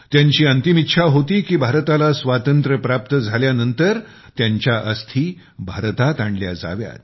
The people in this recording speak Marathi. त्यांची अंतिम इच्छा होती की भारताला स्वातंत्र्य प्राप्त झाल्यानंतर आपल्या अस्थी भारतात आणल्या जाव्यात